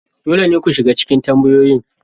Dole ne ku shiga cikin tambayoyin.